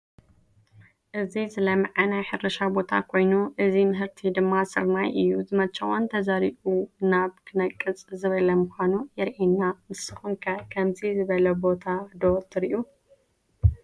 እዚ ዝለመዐ ናይ ሕርሻ ቦታ ኮይኑ እዚ ምህርቲ ድማ ስርናይ እዩ፡፡ ዝመቸዎን ተዘሪኡ ናብ ክነቅፅ ዝበለ ምዃኑ የርኤና፡፡ ንስኹም ከ ከምዚ ዝበለ ቦታ ዶ ትሪኡ?